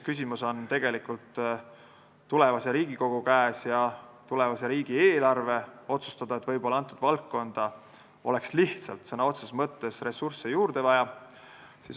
Küsimus on tegelikult tulevase Riigikogu käes ja tulevase riigieelarve otsustada, võib-olla oleks lihtsalt sõna otseses mõttes ressursse juurde vaja.